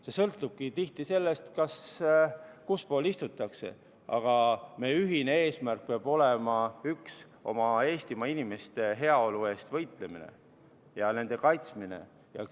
See sõltubki tihti sellest, kuspool istutakse, aga meie ühine eesmärk peab olema üks: Eestimaa inimeste heaolu eest võitlemine, nende kaitsmine.